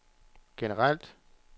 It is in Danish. generelt